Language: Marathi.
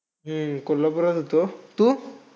हम्म कोल्हापुरात होतो. तू?